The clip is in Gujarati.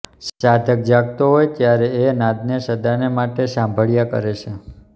સાધક જાગતો હોય ત્યારે એ નાદને સદાને માટે સાંભળ્યા કરે છે